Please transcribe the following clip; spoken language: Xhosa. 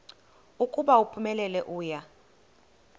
ukuba uphumelele uya